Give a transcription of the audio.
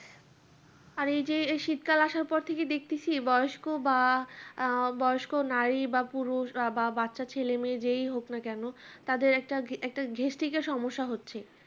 আর এই যে এই শীত কাল আসার পর থেকে দেখতেছি বয়স্ক বা বয়স্ক নারী বা পুরুষ বা বাচ্চা ছেলে মেয়ে যেই হোক না কেন তাদের একটা gastric এর সমস্যা হচ্ছে